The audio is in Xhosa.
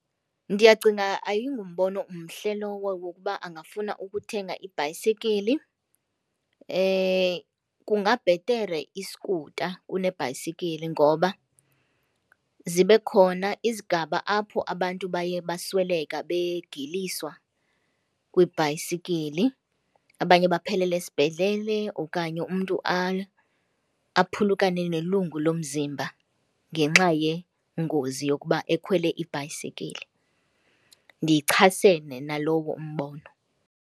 Ndiyacinga ayingumbono mhle lowo wokuba angafuna ukuthenga ibhayisikili. Kungabhetere iskuta kunebhayisikili ngoba zibe khona izigaba apho abantu baye basweleka begiliswa kwiibhayisikili, abanye baphelele esibhedlele okanye umntu aphulukane nelungu lomziba ngenxa yengozi yokuba ekhwele ibhayisikili. Ndichasene nalowo umbono.